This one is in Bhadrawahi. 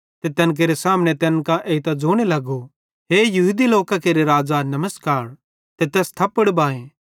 ते तैन केरे सामने तैन कां एइतां ज़ोने लगो हे यहूदी केरे राज़ा नमस्कार ते तैस थप्पड़ बाहे